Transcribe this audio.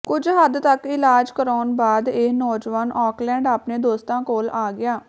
ਕੁਝ ਹੱਦ ਤੱਕ ਇਲਾਜ ਕਰਾਉਣ ਬਾਅਦ ਇਹ ਨੌਜਵਾਨ ਆਕਲੈਂਡ ਆਪਣੇ ਦੋਸਤਾਂ ਕੋਲ ਆ ਗਿਆ